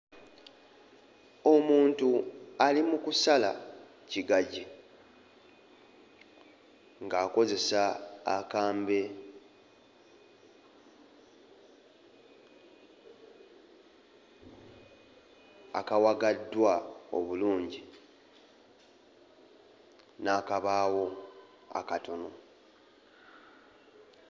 Omuntu ali mu kusala kigajji ng'akozesa akambe akawagaddwa obulungi n'akabaawo akatono.